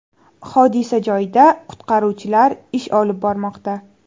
Hodisa joyida qutqaruvchilar ish olib bormoqda.